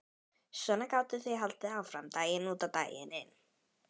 Svona gátu þau haldið áfram daginn út og daginn inn.